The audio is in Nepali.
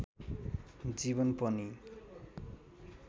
जीवन पनि